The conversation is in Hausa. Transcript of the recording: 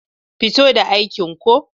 Fito da aikin ko.